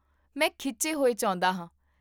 ਮੈਂ ਖਿੱਚੇ ਹੋਏ ਚਾਹੁੰਦਾ ਹਾਂ